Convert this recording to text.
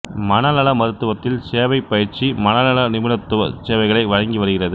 மனநல மருத்துவத்தில் சேவை பயிற்சி மனநல நிபுணத்துவச் சேவைகளை வழங்கி வருகிறது